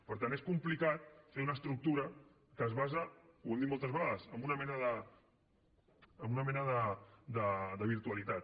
per tant és complicat fer una estructura que es basa ho hem dit moltes vegades en una mena de virtualitat